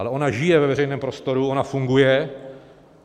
Ale ona žije ve veřejném prostoru, ona funguje.